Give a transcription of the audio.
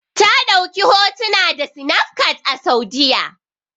Ta ɗauki hotuna da sinafcat a Saudi.